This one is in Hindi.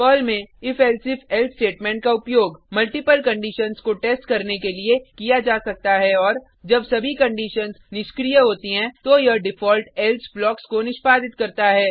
पर्ल में if elsif एल्से स्टेटमेंट का उपयोग मल्टिपल कंडिशन्स को टेस्ट करने के लिए किया जा सकता है और जब सभी कंडिशन्स निष्क्रिय होती हैं तो यह डिफॉल्ट एल्से ब्लॉक्स को निष्पादित करता है